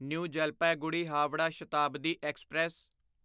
new Jalpaiguri Howrah Shatabdi express